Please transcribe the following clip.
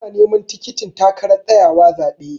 Tana neman tikitin takarar tsayawa zaɓe.